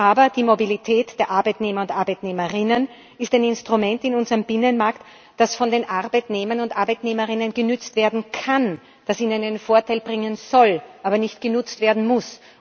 Aber die Mobilität der Arbeitnehmer und Arbeitnehmerinnen ist ein Instrument in unserem Binnenmarkt, das von den Arbeitnehmern und Arbeitnehmerinnen genutzt werden kann, das ihnen einen Vorteil bringen soll, aber nicht genutzt werden muss.